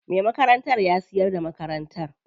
Me makarantar ya siyar da makarantar.